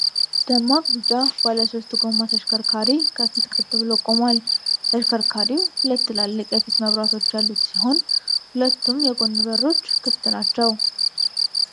ደማቅ ቢጫ ባለ ሶስት ጎማ ተሽከርካሪ ከፊት ቀጥ ብሎ ቆሟል። ተሽከርካሪው ሁለት ትላልቅ የፊት መብራቶች ያሉት ሲሆን፣ ሁለቱም የጎን በሮች ክፍት ናቸው።